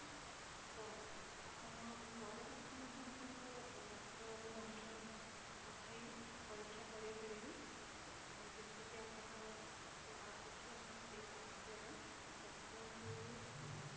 ତ ଆପଣ ଘରେ ବସି ମଧ୍ୟ ଆପଣଙ୍କ ରକ୍ତ ନମୁନା ପଠାଇ ପରୀକ୍ଷା କରେଇ ପାରିବେ ଯେମିତି କି ଆପଣ ଗୋଟେ app ଅଛି ଆପଣ ସେଇ app ଦ୍ଵାରା doctor ଙ୍କୁ ଭି ଆ